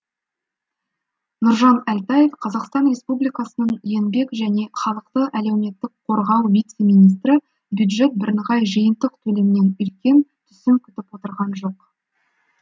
нұржан әлтаев қазақстан республикасы еңбек және халықты әлеуметтік қорғау вице министрі бюджет бірыңғай жиынтық төлемнен үлкен түсім күтіп отырған жоқ